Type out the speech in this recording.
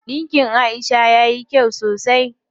Ɗinkin Aisha yayi kyau sosai.